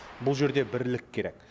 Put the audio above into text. бұл жерде бірлік керек